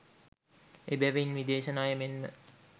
එබැවින් විදේශ ණය මෙන්ම